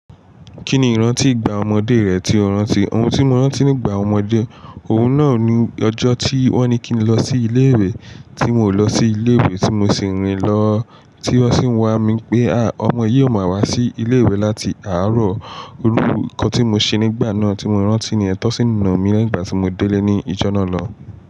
Kí ni ìrántí ìgbà ọmọdé rẹ tí o rántí? Ohun tí mo rántí nígbà ọmọdé, ohun náà ni ọjọ́ tí wọ́n ní kí n lọ sí ilé ìwé tí n ò lọ sí ilé ìwé tí mo sì rìn lọ, tí wọ́n sì wá mi pé a! Ọmọ yìí ò mọ̀ wá sí ilé ìwé láti àárọ̀. Irú nǹkan tí mo ṣe nígbà náà tí mo rántí ni yẹn, tí wọ́n sì nà mí lẹ́yìn ìgbà tí mo délé ní ọjọ́ náà náà.